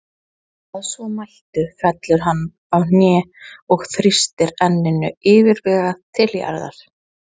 Að svo mæltu fellur hann á kné og þrýstir enninu yfirvegað til jarðar.